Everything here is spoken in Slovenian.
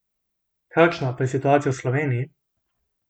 Kakšna pa je situacija v Sloveniji?